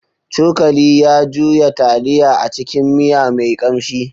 Cokali ya juya taliya a cikin miya mai kamshi.